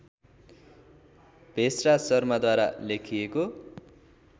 भेषराज शर्माद्वारा लेखिएको